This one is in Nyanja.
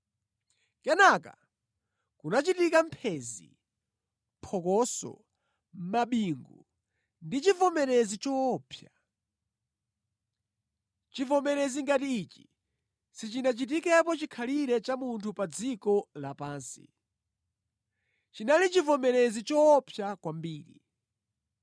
Kenaka kunachitika mphenzi, phokoso, mabingu ndi chivomerezi choopsa. Chivomerezi ngati ichi sichinachitikepo chikhalire cha munthu pa dziko lapansi. Chinali chivomerezi choopsa kwambiri.